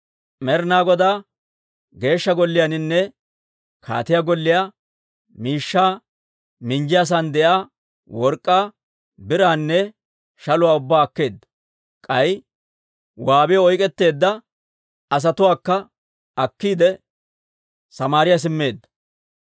Med'ina Godaa Geeshsha Golliyaaninne kaatiyaa golliyaa miishshaa minjjiyaasan de'iyaa work'k'aa, biraanne shaluwaa ubbaa akkeedda; k'ay waabiyaw oyk'k'etteedda asatuwaakka akkiide, Samaariyaa simmeedda.